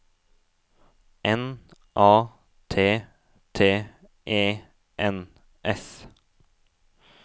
N A T T E N S